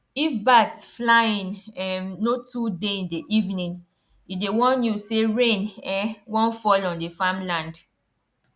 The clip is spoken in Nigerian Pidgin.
if bat flying um no too dey in the evening e dey warn u say rain um wan fall on the farm land